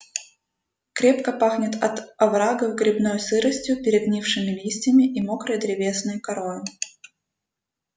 крепко пахнет от оврагов грибной сыростью перегнившими листьями и мокрой древесной корою